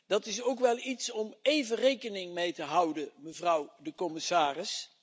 Dat is ook wel iets om even rekening mee te houden, mevrouw de commissaris.